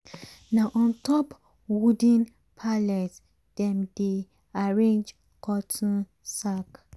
na on top wooden pallet dem dey arrange cotton sack.